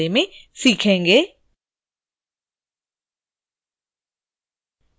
किसी विशेष module के लिए staff को access देने के बारे में सीखेंगे